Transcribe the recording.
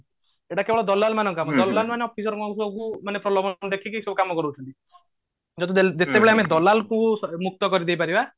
ଏଟା କେବଳ ଦଲାଲ ମାନଙ୍କ କାମ ଦଲାଲ ମାନେ officer ମାନଙ୍କୁ ପ୍ରଲୋଭଲ ଦେଖେଇ ଏସବୁ କାମ କରୋଉଛନ୍ତି ଯଦି ଯେତେବେଳେ ଆମେ ଦଲାଲ ଙ୍କୁ ମୁକ୍ତ କରିଦେଇ ପାରିବା